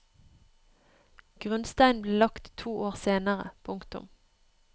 Grunnsteinen ble lagt to år senere. punktum